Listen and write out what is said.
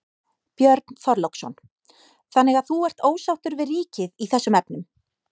Björn Þorláksson: Þannig að þú ert ósáttur við ríkið í þessum efnum?